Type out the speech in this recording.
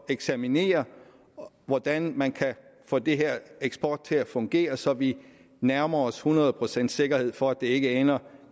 eksaminere hvordan man kan få den her eksport til at fungere så vi nærmer os hundrede procents sikkerhed for at det ikke ender